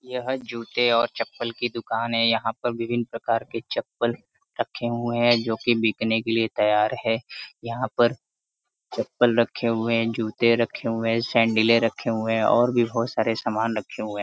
यह जूते और चप्पल की दुकान है। यहाँ पर विभिन्न प्रकार के चप्पल रखे हुए हैं जो कि बिकने के लिए तैयार है। यहाँ पर चप्पल रखे हुए हैं जूते रखे हुए हैं सैंडिले रखे हुए हैं और भी बहोत सारे सामाने रखे हुए हैं।